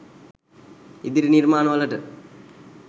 ඉදිරි නිර්මාණ වලට.